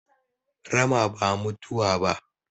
Rama ba mutuwa ba